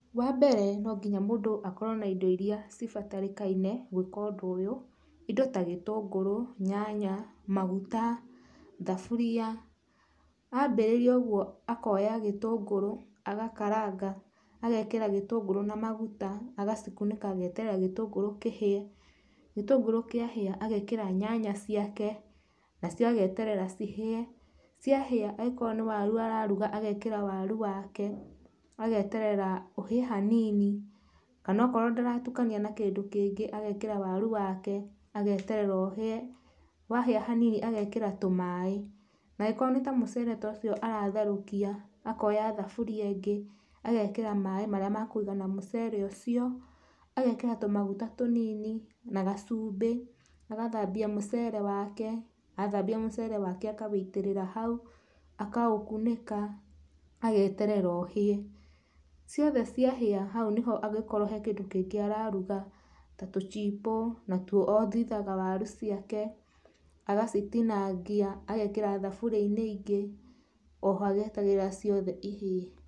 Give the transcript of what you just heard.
Wa mbere no nginya mũndũ akorwo na indo iria cibatarĩkaine gwĩka ũndũ ũyũ, indo ta gĩtũngũrũ, nyanya, maguta, thaburia, wambĩrĩria ũguo akoya gĩtũngũrũ, agakaranga agekĩra gĩtũngũrũ na maguta, agacikunĩka ageterera gĩtũngũrũ kĩhĩe. Gĩtũngũrũ kĩahĩa agekĩra nyanya ciake na cio ageterera cihĩe, ciahĩa angĩkorwo nĩ waru araruga agekĩra wake, ageterera ũhĩe hanini, kana akorwo ndaratukania na kĩndũ kĩngĩ agekĩra waru wake ageterera ũhĩe, wahĩa hanini agekĩra tũmaĩ, angĩkorwo nĩ ta mũcere ta ũcio aratherũkia akoya thaburia ĩngĩ agekĩra maĩ marĩa makũigana mũcere ũcio, agekĩra tũmaguta tũnini na gacumbĩ, agathambia mũcere wake, athambia mũcere wake akawũitĩrĩra hau. Akaũkunĩka ageterera ũhĩe, ciothe cia hĩa hau nĩho angĩkorwo he kĩndũ kĩngĩ araruga ta tũchipo natuo athitha waru ciake agacitinangia thaburia-inĩ ĩngĩ oho agĩatagĩrĩra ciothe ihĩe.